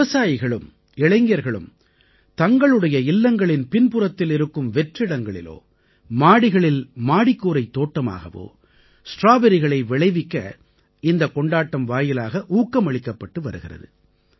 விவசாயிகளும் இளைஞர்களும் தங்களுடைய இல்லங்களின் பின்புறத்தில் இருக்கும் வெற்றிடங்களிலோ மாடிகளில் மாடிக்கூரைத் தோட்டமாகவோ ஸ்ட்ராபெர்ரிகளை விளைவிக்க இந்தக் கொண்டாட்டம் வாயிலாக ஊக்கமளிக்கப்பட்டு வருகிறது